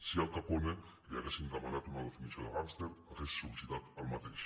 si a al capone li haguessin demanat una definició de gàngster hauria sollicitat el mateix